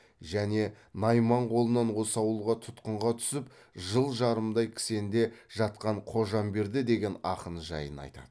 және найман қолынан осы ауылға тұтқынға түсіп жыл жарымдай кісенде жатқан қожамберді деген ақын жайын айтады